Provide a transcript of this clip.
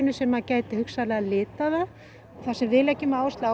sem geti hugsanlega litað það það sem við leggjum áherslu á